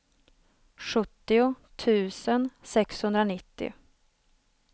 sjuttio tusen sexhundranittio